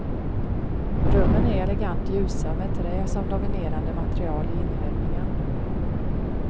Rummen är elegant ljusa med trä som dominerande material i inredningen.